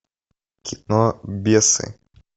кино бесы